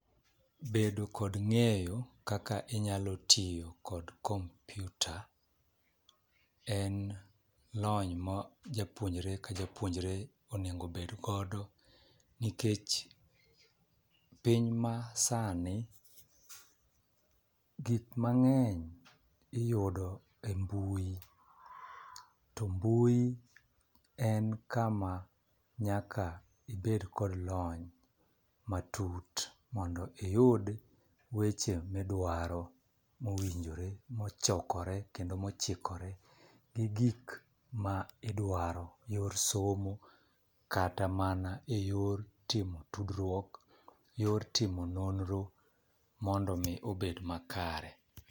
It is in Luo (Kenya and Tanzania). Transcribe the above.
Bedo kod ng'eyo kaka inyalo tiyo kod computer ,en lony ma japuonjre ka japuonjre onego obed godo. Nikech piny masani gik mang'eny iyudo embui. To mbui en kama nyaka ibed kod lony matut mondo iyud weche ma idwaro mowinjore mochokore kendo mochikore gi gik ma idwaro yor somo, kata mana eyor timo tudruok, yor timo nonro mondo mii obed makare.